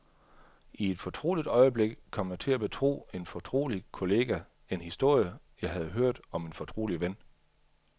I et fortroligt øjeblik kom jeg til at betro en fortrolig kollega en historie, jeg havde hørt om en fortrolig ven.